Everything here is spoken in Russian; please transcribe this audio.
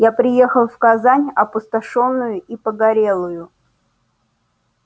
я приехал в казань опустошённую и погорелую